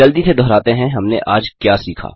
जल्दी से दोहराते हैं हमने आज क्या सीखा